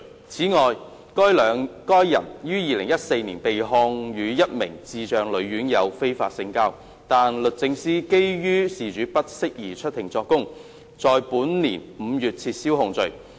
此外，該人於2014年被控與一名智障女院友非法性交，但律政司基於事主不適宜出庭作供，在本年5月撤銷檢控。